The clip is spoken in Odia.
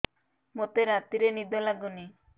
ମୋତେ ରାତିରେ ନିଦ ଲାଗୁନି